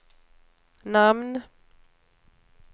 namn